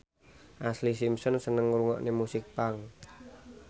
Ashlee Simpson seneng ngrungokne musik punk